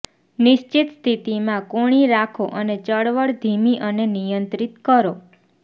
નિશ્ચિત સ્થિતીમાં કોણી રાખો અને ચળવળ ધીમી અને નિયંત્રિત કરો